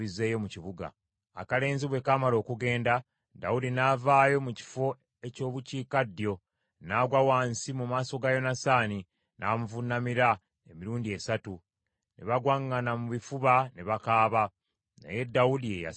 Akalenzi bwe kaamala okugenda, Dawudi n’avaayo mu kifo eky’obukiikaddyo, n’agwa wansi mu maaso ga Yonasaani n’amuvuunamira emirundi esatu. Ne bagwaŋŋana mu bifuba ne bakaaba, naye Dawudi ye yasinga okukaaba.